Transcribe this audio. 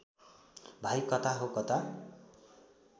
भाइ कता हो कता